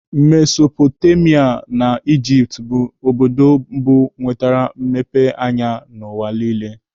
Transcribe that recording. Mesopotamia na Ijipt bụrụ obodo mbụ nwetere mmepe anya n'ụwa niile.